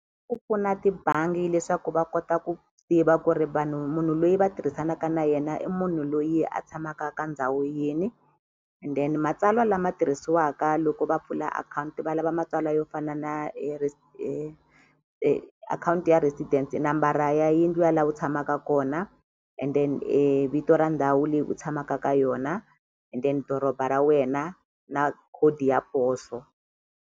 Ku pfuna tibangi leswaku va kota ku tiva ku ri vanhu munhu loyi va tirhisanaka na yena i munhu loyi a tshamaka ka ndhawu yini and then matsalwa lama tirhisiwaka loko va pfula akhawunti valava matsalwa yo fana na akhawunti ya residence nambara ya yindlu ya la u tshamaka kona and then vito ra ndhawu leyi u tshamaka ka yona and then doroba ra wena na khodi ya poso.